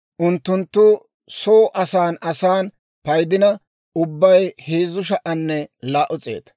unttunttu soo asan asan paydina ubbay 3,200.